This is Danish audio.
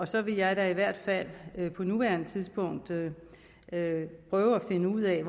så vil jeg da i hvert fald på nuværende tidspunkt prøve at finde ud af